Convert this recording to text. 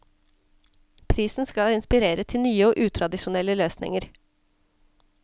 Prisen skal inspirere til nye og utradisjonelle løsninger.